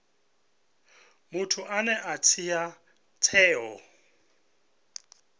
muthu ane a dzhia tsheo